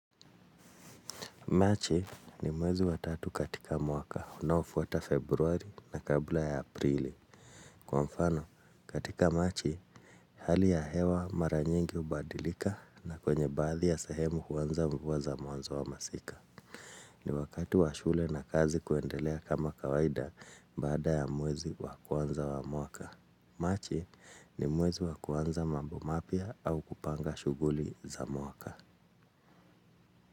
Machi ni mwezi wa tatu katika mwaka. Unaofuata februari na kabla ya aprili. Kwa mfano, katika machi, hali ya hewa mara nyingi hubadilika na kwenye baadhi ya sehemu kuanza mvua za mwanzo wa masika. Ni wakati wa shule na kazi kuendelea kama kawaida baada ya mwezi wa kwanza wa mwaka. Machi ni mwezi wa kuanza mambo mapya au kupanga shughuli za mwaka.